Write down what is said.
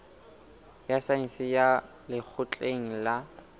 ya saense ya lekgotleng la